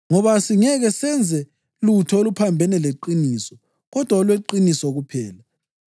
Ngoba asingeke senze lutho oluphambene leqiniso kodwa olweqiniso kuphela.